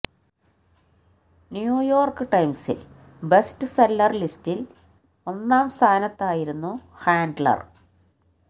new York ടൈംസിൽ best seller ലിസ്റ്റിൽ ഒന്നാം സ്ഥാനത്തായിരുന്നു ഹാൻഡലർ